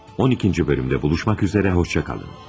12-ci bölümdə buluşmak üzere hoşça kalın.